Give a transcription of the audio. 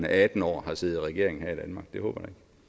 af atten år har siddet i regering her i danmark det håber